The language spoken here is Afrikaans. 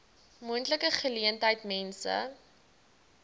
moontlike geleentheid mense